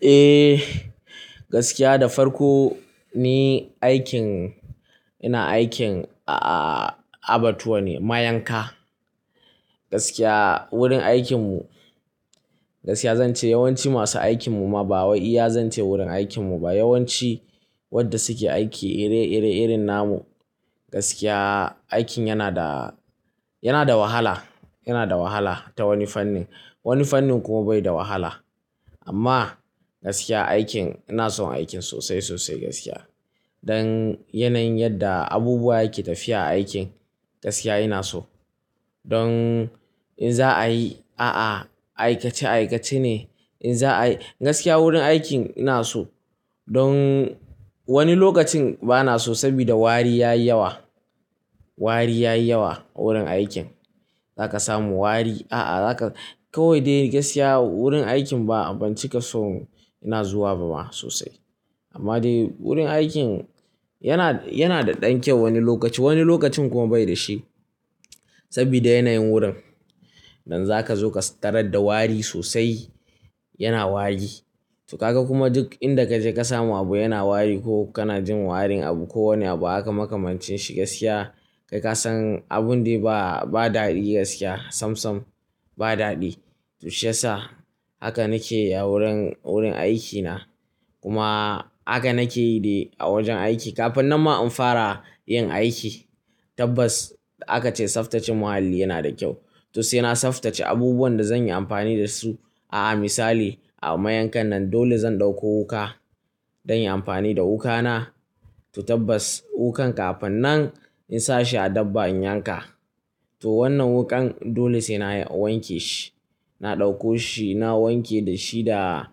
Eh, gaskiya da farko ni aikin ina aikin, a, abatuwa ne, mayanka. Gaskiya wurin aikinmu, gaskiya zan ce yawanci masu aikin mu ma ba wai iya zan ce wurin aikin mu ba. Yawanci wanda suke aiki ire-ire irin na mu. Gaskiya aikin yana da, yana da wahala, yana da wahala ta wani fannin, wani fannin kuma bai da wahala. Amma gaskiya aikin ina son aikin sosai, sosai gaskiya. Don yanayin yadda abubuwa yake tafiya a aikin gaskiya ina so. Don in za a yi, a'a aikace aikace ne. In za a yi, gaskiya wurin aikin ina so. Don wani lokacin bana so saboda wari ya yi yawa, wari ya yi yawa wurin aikin. Za ka samu wari, a'a za ka, kawai dai gaskiya wurin aikin ba abinci ka son ina zuwa ba ma sosai. Amma dai wurin aikin yana, yana da ɗan kyau wani lokaci, wani lokacin kuma bai da shi. Saboda yanayin wurin. Don za ka zo ka tarar da wari sosai, yana wari. To ka ga kuma duk inda ka je ka samu abu yana wari ko kana jin warin abu ko wani abu aka makamanci shi gaskiya, kai ka san abun dai ba, ba daɗi gaskiya sam sam ba daɗi. To shiyasa haka nake wurin, wurin aikina. Kuma haka nake yi dai a wajen aiki. Kafin nan ma in fara yin aiki, tabbas aka ce tsaftace muhalli yana da kyau. To sai na tsaftace abubuwan da zan yi amfani da su. A'a misali a mayankan nan dole zan ɗauko wuka don yin amfani da wukana. To tabbas wuƙan kafin nan in sa shi a dabba in yanka. To wannan wuƙan dole sai na wanke shi. Na ɗauko shi, na wanke da shi da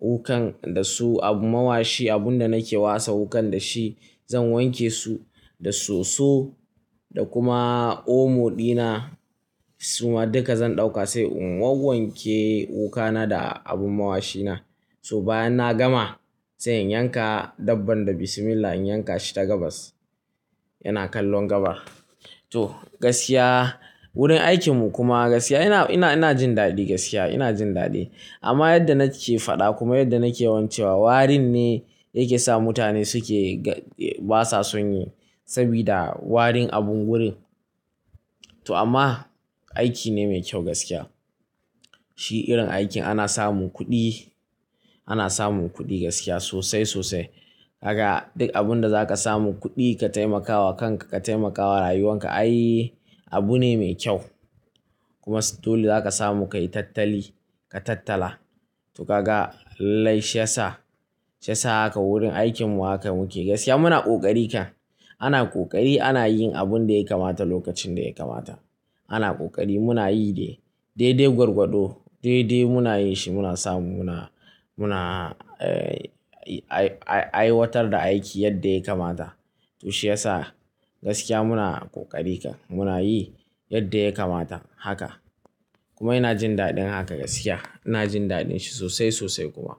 wuƙan da su abu mawashi abun da nake wasa wuƙan da shi. Zan wanke su da soso da kuma omo ɗina. Suma duka zan ɗauka sai in wauwanke wukana da abin mawashina. To bayan na gama sai in yanka dabban da bismillah in yanka shi ta gabas. Yana kallon gabar. To gaskiya wurin aikinmu kuma gaskiya ina, ina, ina jin daɗi gaskiya ina jin daɗi. Amma yadda na ke faɗa kuma yadda nake wancewa warin ne yake sa mutane suke ba sa son yi. Saboda warin abun wurin. To amma aiki ne mai kyau gaskiya. Shi irin aikin ana samun kuɗi, ana samun kuɗi gaskiya sosai sosai. Haka duk abunda za ka samu kuɗi ka taimakawa kanka, ka taimakawa rayuwanka ai abu ne mai kyau. Kuma dole za ka samu ka yi tattali, ka tattala. To ka ga? Lai shiyasa, shiyasa haka wurin aikinmu haka muke gaskiya muna ƙoƙari kan. Ana ƙoƙari, ana yin abun da ya kamata lokacin da ya kamata. Ana ƙoƙari muna yi dai. Dai dai gwargwado, dai dai muna yin shi muna samu muna, muna, eh, ai, ai, aiwatar da aiki yadda ya kamata. To shiyasa gaskiya muna ƙoƙari kan. Muna yi yadda ya kamata haka. Kuma ina jin daɗin haka gaskiya. Ina jin daɗin shi sosai sosai kuma.